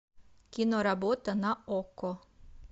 киноработа на окко